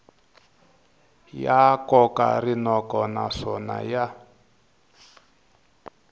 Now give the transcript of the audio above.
ya koka rinoko naswona ya